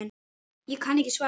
Ég kann ekki svarið.